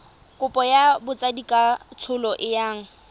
kopo ya botsadikatsholo e yang